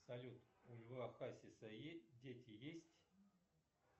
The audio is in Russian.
салют у льва хасиса дети есть